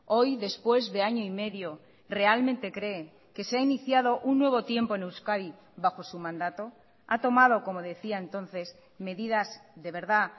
hoy después de año y medio realmente cree que se ha iniciado un nuevo tiempo en euskadi bajo su mandato ha tomado como decía entonces medidas de verdad